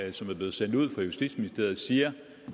og som er blevet sendt ud fra justitsministeriet siger